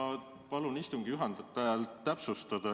Ma palun istungi juhatajal täpsustada.